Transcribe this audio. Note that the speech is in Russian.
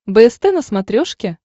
бст на смотрешке